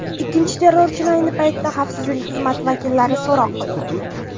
Ikkinchi terrorchini ayni paytda xavfsizlik xizmati vakillari so‘roq qilmoqda.